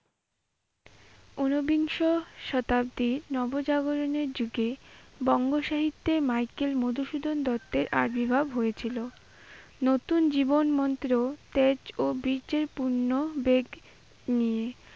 ঊনবিংশ শতাব্দীতে নবজাগরণের যুগে বঙ্গ সাহিত্যে মাইকেল মধুসূদন দত্তের আবির্ভাব হয়েছিল নতুন জীবন মন্ত্র, তেজ ও বীর্যের পূর্ণ বেগ নিয়ে।